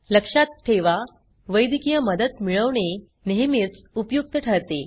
लक्षात ठेवा वैद्यकीय मदत मिळवणे नेहमीच उपयुक्त ठरते